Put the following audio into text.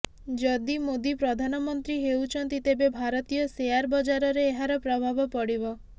ଯଦି ମୋଦୀ ପ୍ରଧାନମନ୍ତ୍ରୀ ହେଉଛନ୍ତି ତେବେ ଭାରତୀୟ ସେୟାର ବଜାରରେ ଏହାର ପ୍ରଭାବ ପଡିବ